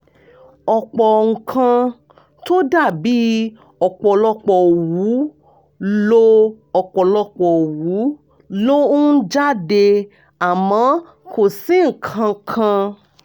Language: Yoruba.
ọ̀pọ̀ nǹkan tó dà bí ọ̀pọ̀lọpọ̀ òwú ló ọ̀pọ̀lọpọ̀ òwú ló ń jáde àmọ́ kò sí nǹkan kan